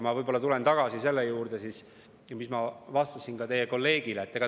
Ma tulen tagasi selle juurde, mida ma vastasin teie kolleegile.